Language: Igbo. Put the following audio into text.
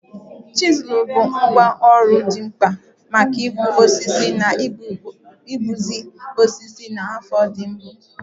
Chizul bụ ngwá ọrụ dị mkpa maka ịkpụ osisi na ịkpụzi osisi na afọ ndị mbụ.